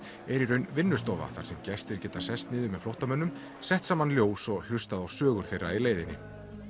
er í raun vinnustofa þar sem gestir geta sest niður með flóttamönnum sett saman ljós og hlustað á sögur þeirra í leiðinni